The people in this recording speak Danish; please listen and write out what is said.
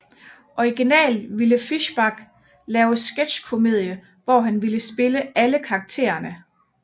Originalt ville Fischbach lave Sketchkomedie hvor han ville spille alle karaktererne